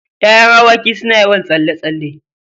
Ya'yan awaki suna yawan tsalle-tsalle.